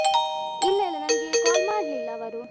ಇಲ್ಲ ಇಲ್ಲ ನನ್ಗೆ call ಮಾಡ್ಲಿಲ್ಲ ಅವರು.